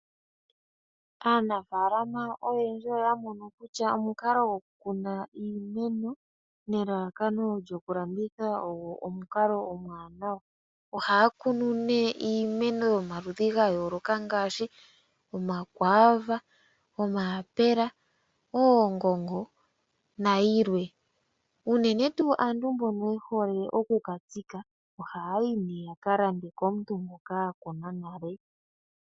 Aanafaalama oyendji oya mono kutya omukalo gokukuna iimeno nelalakano lyokulanditha ogo omukalo omuwanawa. Ohaa kunu iimeno yomaludhi ga yoolokathana ngaashi: omakwaava, omayapula, oongongo nayilwe. Aantu mboka ye hole okutsika iimeno ohaa yi nduno ya ka lande komuntu ngoka a kuna nale.